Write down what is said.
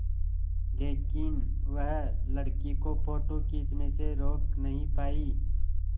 लेकिन वह लड़की को फ़ोटो खींचने से रोक नहीं पाई